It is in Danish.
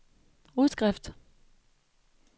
udskrift